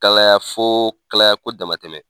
Kalaya fo kalaya ko dama tɛmɛ.